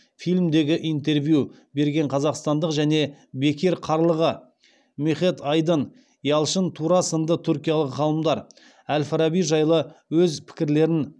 фильмдегі интервью берген қазақстандық және бекир қарлыға мехет айдын ялшын тура сынды түркиялық ғалымдар әл фараби жайлы өз пікірлерін